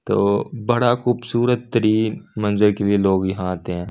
तो बड़ा खूबसूरत तरीन मंजर के लिए लोग यहां आते हैं।